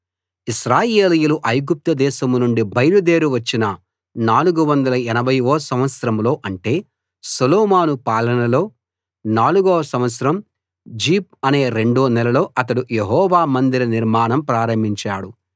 ఇశ్రాయేలీయులు ఐగుప్తు దేశం నుండి బయలుదేరి వచ్చిన 480 వ సంవత్సరంలో అంటే సొలొమోను పాలనలో నాలుగో సంవత్సరం జీప్‌ అనే రెండో నెలలో అతడు యెహోవా మందిర నిర్మాణం ప్రారంభించాడు